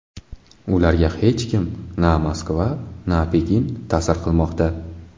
Ularga hech kim na Moskva, na Pekin ta’sir qilmoqda.